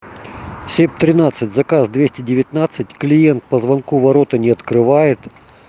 сеть тринадцать заказ двести девятнадцать клиент по звонку ворота не открывает